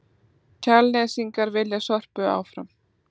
Kjalnesingar vilja Sorpu áfram